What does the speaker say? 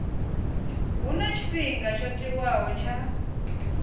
huna tshifhinga tsho tiwaho tsha